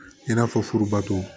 I n'a fɔ furubato